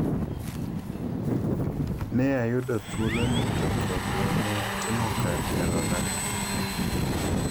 "Ne ayudo thuolo ni to kendo ne atimo kar nyalona.